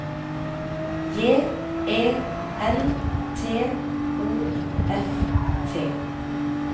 J E N T O F T